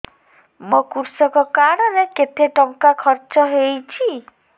ମୋ କୃଷକ କାର୍ଡ ରେ କେତେ ଟଙ୍କା ଖର୍ଚ୍ଚ ହେଇଚି